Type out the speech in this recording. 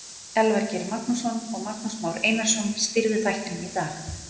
Elvar Geir Magnússon og Magnús Már Einarsson stýrðu þættinum í dag.